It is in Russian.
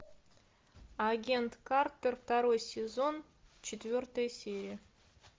агент картер второй сезон четвертая серия